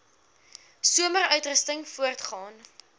somer uitrusting voortgaan